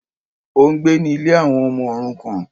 Ó n gbé ní Ilé àwọn ọmọ òrukàn